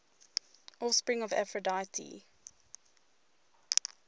offspring of aphrodite